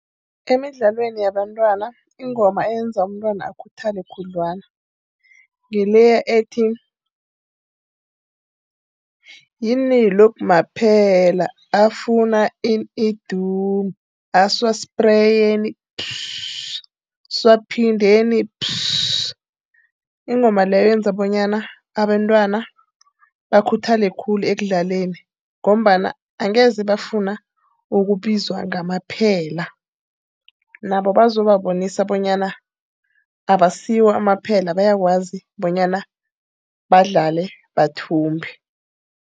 Emidlalweni yabantwana ingoma eyenza umntwana akhuthale khudlwana, ngileya ethi, yini lokhu maphela. Afuna ini? Idumu, asiwaspreyeni . Asiwaphindeni . Ingoma leyo yenza bonyana abentwana bakhuthale khulu ekudlaleni, ngombana angeze bafuna ukubizwa ngamaphela. Nabo bazobanisa bonyana abasiwo amaphela, bayakwazi bonyana badlale bathumbe.